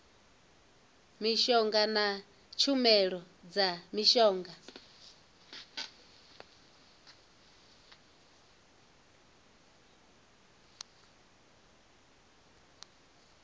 mishonga na tshumelo dza mishonga